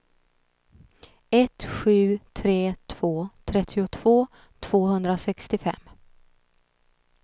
ett sju tre två trettiotvå tvåhundrasextiofem